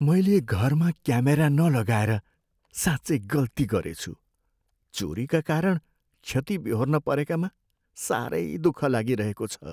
मैले घरमा क्यामेरा नलगाएर साँच्चै गल्ती गरेछु। चोरीका कारण क्षति बेहोर्न परेकामा साह्रै दुख लागिरहेको छ।